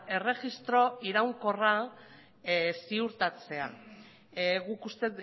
erregistro iraunkorra ziurtatzea